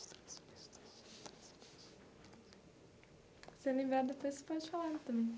Se você lembrar depois, você pode falar também.